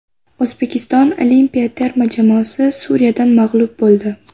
O‘zbekiston olimpiya terma jamoasi Suriyadan mag‘lub bo‘ldi.